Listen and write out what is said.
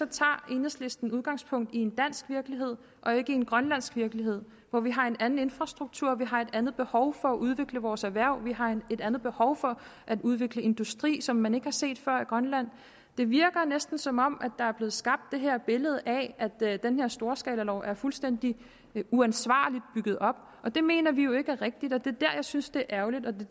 tager enhedslisten udgangspunkt i en dansk virkelighed og ikke i en grønlandsk virkelighed hvor vi har en anden infrastruktur vi har et andet behov for at udvikle vores erhverv vi har et andet behov for at udvikle industri som man ikke har set før i grønland det virker næsten som om der er blevet skabt et billede af at den her storskalalov er fuldstændig uansvarligt bygget op og det mener vi jo ikke er rigtigt og det er der jeg synes det er ærgerligt og